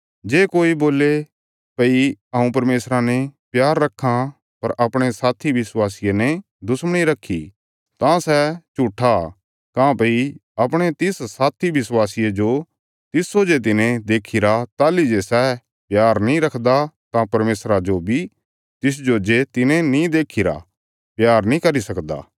जे कोई बोल्ले भई हऊँ परमेशरा ने प्यार रक्खां पर अपणे साथी विश्वासिये ने दुश्मणी रखी तां सै झूट्ठा काँह्भई अपणे तिस साथी विश्वासिये जो तिस्सो जे तिने देखीरा ताहली जे सै प्यार नीं रखदा तां परमेशरा जो बी तिसजो जे तिने नीं देखीरा प्यार नीं करी सकदा